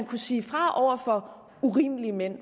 kunne sige fra over for urimelige mænd